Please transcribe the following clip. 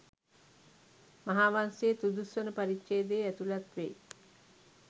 මහාවංසයේ තුදුස්වන පරිච්ඡේදයේ ඇතුළත් වෙයි.